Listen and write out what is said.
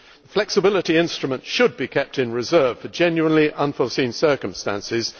Flexibility instruments should be kept in reserve for genuinely unforeseen circumstances.